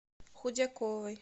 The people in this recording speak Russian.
худяковой